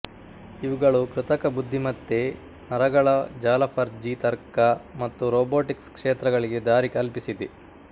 ಇವುಗಳು ಕೃತಕ ಬುದ್ಧಿಮತ್ತೆ ನರಗಳ ಜಾಲಫಜಿ ತರ್ಕ ಮತ್ತು ರೊಬೊಟಿಕ್ಸ್ ಕ್ಷೇತ್ರಗಳಿಗೆ ದಾರಿಕಲ್ಪಿಸಿದೆ